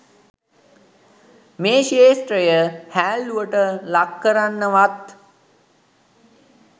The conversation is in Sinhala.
මේ ක්‍ෂේත්‍රය හෑල්ලුවට ලක්කරන්නවත්